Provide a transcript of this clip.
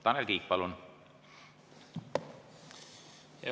Tanel Kiik, palun!